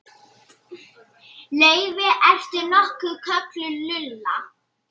Laufey- ertu nokkuð kölluð Lulla?